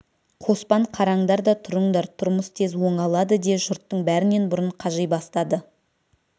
қоспан қараңдар да тұрыңдар тұрмыс тез оңалады де жұрттың бәрінен бұрын қажи бастады